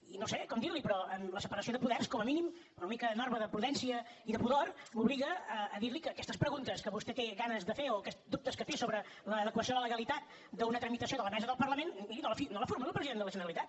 i no sé com dir li ho però la separació de poders com a mínim una mica norma de prudència i de pudor m’obliga a dir li que aquestes preguntes que vostè té ganes de fer o aquests dubtes que té sobre l’adequació a la legalitat d’una tramitació de la mesa del parlament miri no la formuli al president de la generalitat